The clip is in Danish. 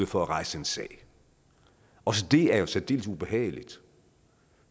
for at rejse en sag også det er jo særdeles ubehageligt